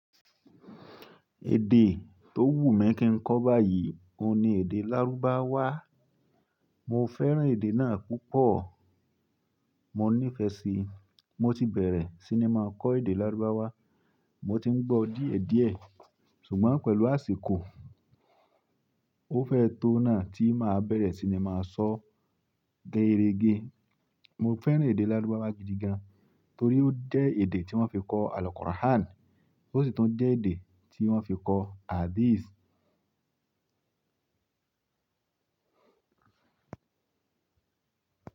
Èdè tó wù mí kí n kọ́ báyìí òun ni èdè Lárúbáwá. Mo fẹ́ràn èdè náà púpọ̀. Mo ní ìfẹ́ sí i. Mo ti bẹ̀rẹ̀ sí ní máa kọ́ èdè Lárúbáwá, mo ti ń gbọ́ díẹ̀díẹ̀. Ṣùgbọ́n pẹ̀lú àsìkò, ó fẹ́ tó náà tí màá bẹ̀rẹ̀ sí ní máa sọ gẹ́ẹrẹge. Mo fẹ́ràn èdè Lárúbáwá gidi gan, torí ó jẹ́ èdè tí wọ́n fi kọ Al-Qur'an, ó sì tún jẹ́ èdè tí wọ́n fi kọ Hadís.